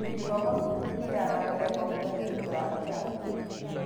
Gĩthomo gĩitũ gĩthiaga na mbere o mũthenya thutha wa kĩrathi.